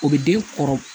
O bɛ den kɔrɔ